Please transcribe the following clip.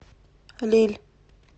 лилль